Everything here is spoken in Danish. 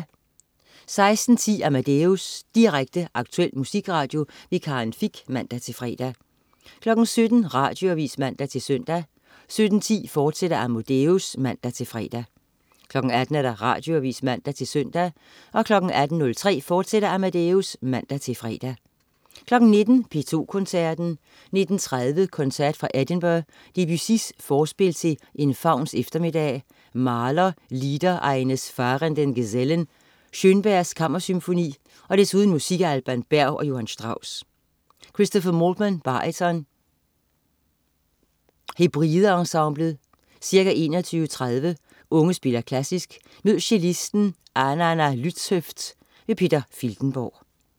16.10 Amadeus. Direkte, aktuel musikradio. Karin Fich (man-fre) 17.00 Radioavis (man-søn) 17.10 Amadeus, fortsat (man-fre) 18.00 Radioavis (man-søn) 18.03 Amadeus, fortsat (man-fre) 19.00 P2 Koncerten. 19.30 Koncert fra Edinburgh. Debussy: Forspil til en fauns eftermiddag. Mahler: Lieder eines fahrenden Gesellen. Schönberg: Kammersymfoni. Desuden musik af Alban Berg og Johan Strauss. Christopher Maltman, baryton. Hebrides Ensemblet. Ca. 21.30 Unge spiller Klassisk. Mød cellisten Ananna Lützhöft. Peter Filtenborg